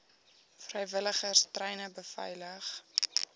vrywilligers treine beveilig